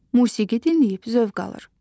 Musiqi dinləyib zövq alır.